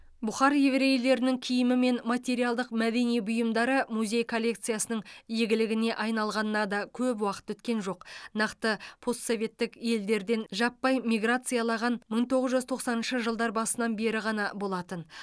бұхар еврейлерінің киімі мен материалдық мәдени бұйымдары музей коллекциясының игілігіне айналғанына да көп уақыт өткен жоқ нақты постсоветтік елдерден жаппай миграциялаған мың тоғыз жүз тоқсаныншы жылдар басынан бері ғана болатын